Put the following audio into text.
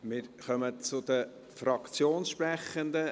Wir kommen zu den Fraktionssprechenden.